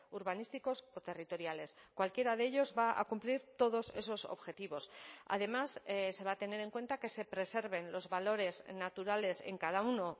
urbanísticos o territoriales cualquiera de ellos va a cumplir todos esos objetivos además se va a tener en cuenta que se preserven los valores naturales en cada uno